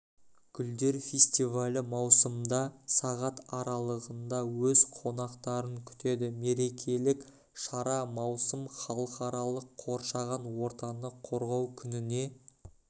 гүлдер фестивалі маусымда сағат аралығында өз қонақтарын күтеді мерекелік шара маусым халықаралық қоршаған ортаны қорғау күніне